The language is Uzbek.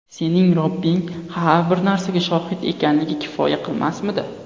Sening Robbing har bir narsaga shohid ekanligi kifoya qilmasmidi?